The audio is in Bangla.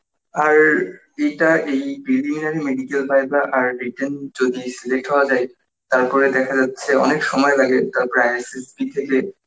আর এইটা এই preliminary medical, viva আর written যদি select হওয়া যায় তারপর দেখা যাচ্ছে অনেক সময় লাগে তারপর ISSB থেকে